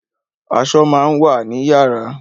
Aṣọ máa ń wà ni yàrá